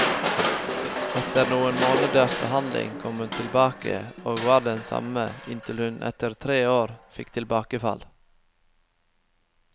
Etter noen måneders behandling kom hun tilbake, og var den samme, inntil hun etter tre år fikk tilbakefall.